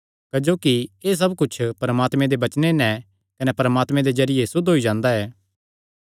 क्जोकि एह़ सब कुच्छ परमात्मे दे वचने नैं कने प्रार्थना दे जरिये सुद्ध होई जांदा ऐ